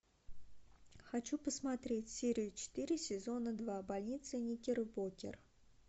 хочу посмотреть серию четыре сезона два больница никербокер